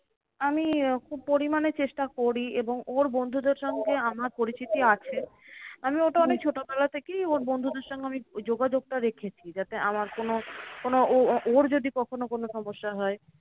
আমি ওকে পরিমানে চেষ্টা করি এবং ওর বন্ধুদের সঙ্গে আমার পরিচিতি আছে। আমি ওটা অনেক ছোটবেলা থেকেই ওর বন্ধুদের সঙ্গে আমি ওই যোগাযোগটা রেখেছি। যাতে আমার কোনো কোনো ও ওর যদি কখনো কোনো সমস্যা হয়?